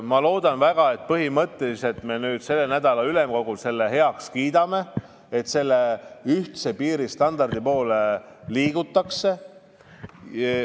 Ma loodan väga, et me selle nädala ülemkogul kiidame heaks selle, et ühtse piiristandardi poole liigutakse.